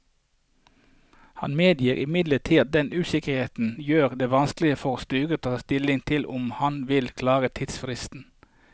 Han medgir imidlertid at denne usikkerheten gjør det vanskeligere for styret å ta stilling til om man vil klare tidsfristen.